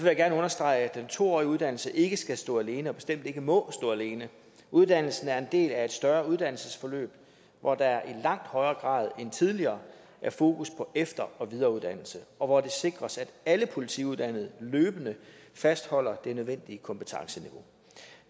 jeg gerne understrege at den to årige uddannelse ikke skal stå alene og bestemt ikke må stå alene uddannelsen er en del af et større uddannelsesforløb hvor der i langt højere grad end tidligere er fokus på efter og videreuddannelse og hvor det sikres at alle politiuddannede løbende fastholder det nødvendige kompetenceniveau